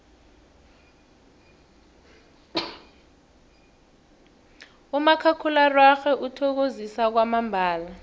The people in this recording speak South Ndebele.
umakhakhulararhwe uthokozisa kwamambala